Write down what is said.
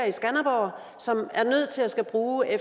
i skanderborg som er nødt til at skulle bruge